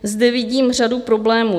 Zde vidím řadu problémů.